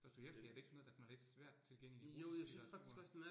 Dostojevskij er det ikke sådan noget, der sådan er lidt svært tilgængeligt? Russisk litteratur